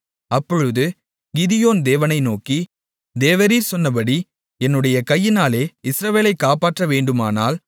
அப்பொழுது கிதியோன் தேவனை நோக்கி தேவரீர் சொன்னபடி என்னுடைய கையினாலே இஸ்ரவேலை காப்பாற்றவேண்டுமானால்